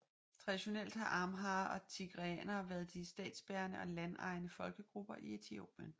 Traditionelt har amharer og tigreanere været de statsbærende og landejende folkegrupper i Etiopien